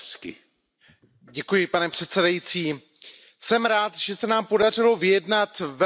Pane předsedající, jsem rád, že se nám podařilo vyjednat velmi dobrý kompromis.